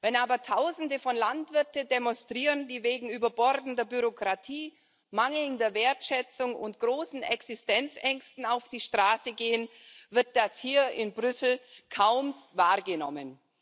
Wenn aber Tausende von Landwirten demonstrieren, die wegen überbordender Bürokratie, mangelnder Wertschätzung und großen Existenzängsten auf die Straße gehen, wird das hier in Brüssel kaum wahrgenommen.